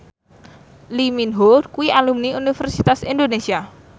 Lee Min Ho kuwi alumni Universitas Indonesia